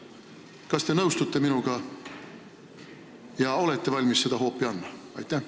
Kas te nõustute minuga ja olete valmis seda hoopi andma?